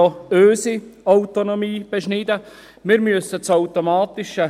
es beschneidet nämlich auch unsere Autonomie.